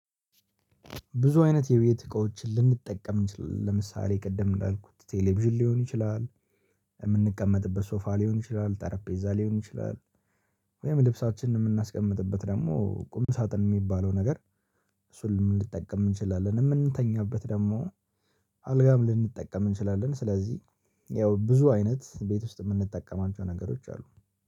ብዙ አይነት የቤት እቃዎችን ልንጠቀም እንችላለን ለምሳሌ ቅድም እንዳልኩት ቴሌቪዥን ሊሆን ይችላል። የምንቀመጥበት ሶፋ ሊሆን ይችላል ጠረጴዛ ሊሆን ይችላል። ወይም ልብሳችንን የምናስቀምጥበት ደግሞ ቁም ሳጥን የሚባለው ነገር። እሱን ልንጠቀም እንችላለን የምንተኛበት ደግሞ። አልጋም ልንጠቀም እንችላለን ስለዚህ። ያው ብዙ አይነት ቤት ውስጥ የምንጠቀማቸው ነገሮች አሉ